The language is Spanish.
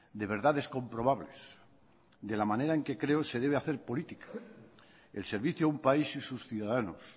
de verdades comprobables de la manera en que creo se debe hacer política el servicio un país y sus ciudadanos